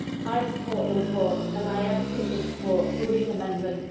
I support the report and I ask people to support Green Amendment